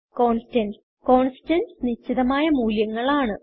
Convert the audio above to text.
constants constants നിശ്ചിതമായ മൂല്യങ്ങൾ ആണ്